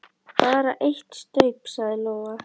Bara eitt staup, sagði Lóa.